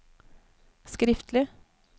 skriftlig